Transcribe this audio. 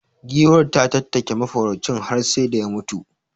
Giwar ta tattake mafaraucin har sai da ya mutu.